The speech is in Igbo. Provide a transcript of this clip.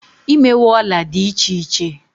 imewe Òla di iche iche